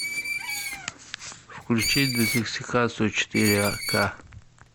включи детоксикацию четыре ка